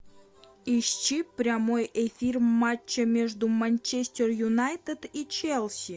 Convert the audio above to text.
ищи прямой эфир матча между манчестер юнайтед и челси